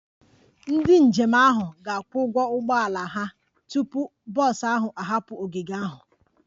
Ndị njem ahụ ga-akwụ ụgwọ ụgbọ ala ha tupu bọs ahụ ahapụ ogige ahụ